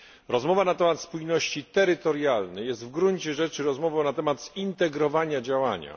Rozmowa na temat spójności terytorialnej jest w gruncie rzeczy rozmową na temat zintegrowania działania.